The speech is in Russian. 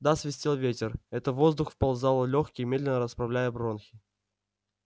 да свистел ветер это воздух вползал в лёгкие медленно расправляя бронхи